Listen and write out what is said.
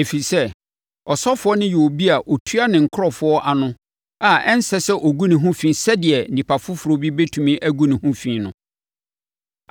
Ɛfiri sɛ, ɔsɔfoɔ no yɛ obi a ɔtua ne nkurɔfoɔ ano a ɛnsɛ sɛ ɔgu ne ho fi sɛdeɛ onipa foforɔ bi bɛtumi agu ne ho fi no.